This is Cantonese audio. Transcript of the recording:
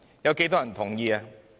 有多少人同意？